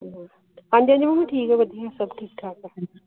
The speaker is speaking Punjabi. ਹਾਂਜੀ ਹਾਂਜੀ ਸਭ ਠੀਕ ਠਾਕ